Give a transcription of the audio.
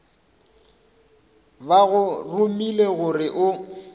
ba go romile gore o